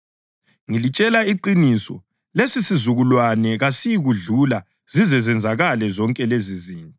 Ngilitshela iqiniso, lesisizukulwane kasiyikudlula zize zenzakale zonke lezizinto.